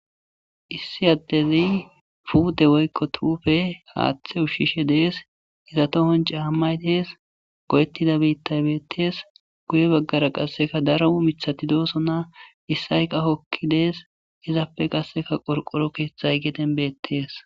Issi adezi pute woyiko tupe hathe ushishe de,ees iza tohon ca,amayi dees boketida bithayi betees guye bagara qasika daro mathati dosona isoyi qasika hokides izappe qasika qorqoro kethayi geden betees